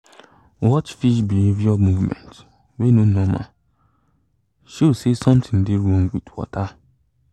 watch fish behavior movement wey no normal show say something dey wrong with water